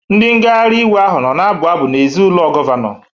Ndị ngagharị iwe ahụ nọ na-abụ abụ n'èzí ụlọ gọvanọ